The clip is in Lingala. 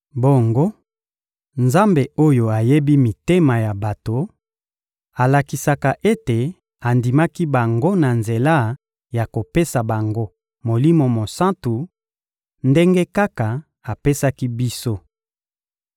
Bongo, Nzambe oyo ayebi mitema ya bato alakisaki ete andimaki bango na nzela ya kopesa bango Molimo Mosantu, ndenge kaka apesaki biso.